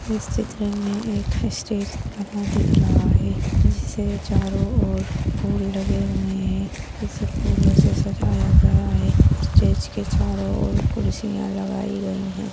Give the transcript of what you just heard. इस चित्र मे एक स्टेज बना दिख रहा है जिसे चारो और फूल लगे हुए है इसे फूलो से सजाया गया है स्टेज के चारो और कुर्सियां लगाई गयी है।